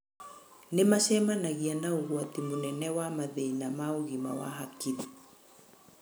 Nĩ macemanagia na ũgwati mũnene wa mathĩna ma ũgima wa hakiri.